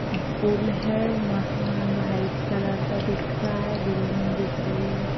पुल है। मकान white colour का दिख रहा है। बिल्डिंग दिख रही है।